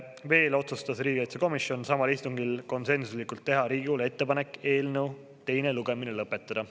Veel otsustas riigikaitsekomisjon samal istungil konsensuslikult teha Riigikogule ettepanek eelnõu teine lugemine lõpetada.